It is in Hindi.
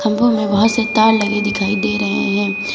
खंभों में बहुत से तार दिखाई दे रहे हैं।